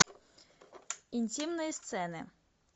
интимные сцены